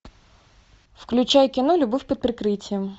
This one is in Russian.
включай кино любовь под прикрытием